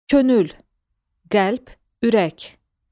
Könül, qəlb, ürək.